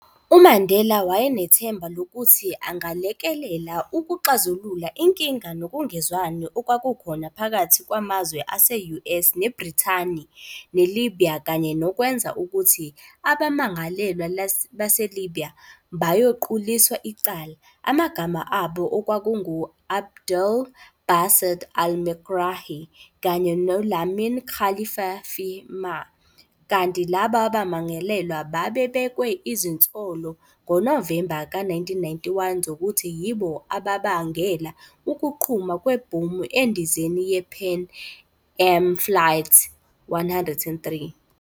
UMandela wayenethemba lokuthi angalekelela ukuxazulula inkinga nokungezwani okwakukhona phakathi kwamazwe ase-US neBrithani ne-Libya kanye nokwenza ukuthi abammangalelwa baseLibya bayoquliswa icala, amagama abo okwakungu-Abdelbaset al-Megrahi kanye no-Lamin Khalifah Fhimah, kanti laba bammangalelwa babebekwe izinsolongoNovemba ka 1991 zokuthi yibo ababangela ukuqhuma kwebhomu endizeni ye-Pan Am Flight 103.